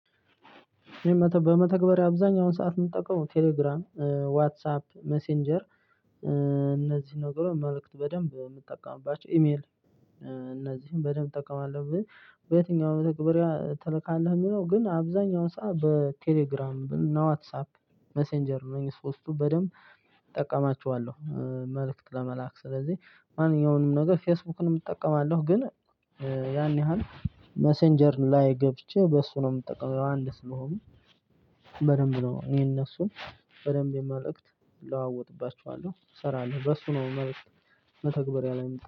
በመተግበሪያ አብዛኛውን ሰዓት የምጠቀመው ቴሌግራም ዋትሳፕ ሜሴንጀር እነዚህ ነገሮች መልእክት በደንብ የምጠቀምባቸው ኢሜል እነዚህን በደንብ እጠቀማለሁ። በየትኛውም መተግበሪያ ትልካለህ? የሚለው ግን አብዛኛውን ሰዓት በቴሌግራም እና ዋትሳፕ ሜሴንጀር አነኚ ሶስቱ በደንብ እጠቀማችኋለሁ። መልእክት ለመላክ ስለዚህ ማንኛውንም ነገር ፌስቡክንም እጠቀማለሁ። ግን ያን ያህል ሜሰንጀር ላይ ገብቼ በእሱ ነው የምጠቀመው። ያው አንድ ስለሆኑ በደንብ ነው እኔ እነሱን በደንብ የመልእክት እለዋወጥባችኋለሁ እሰራለሁ በሱ ነው መልእክት። መተግበሪያ ላይ